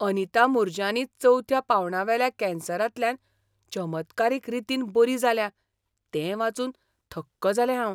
अनिता मूरजानी चवथ्या पांवणावेल्या कॅन्सरांतल्यान चमत्कारीक रितीन बरी जाल्या तें वाचून थक्क जालें हांव.